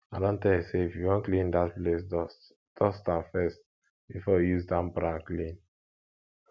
i don tell you say if you wan clean dat place dust dust am first before you use damp rag clean